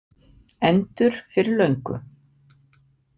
Endur fyrir löngu.